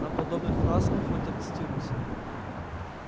там подобных фраз хоть обцитируйся